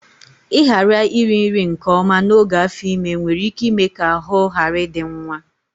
Ịghara iri nri nke ọma n'oge afọ ime nwere ike ime ka ahụ ghara ịdị nwa